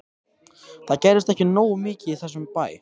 Það gerist ekki nógu mikið í þessum bæ.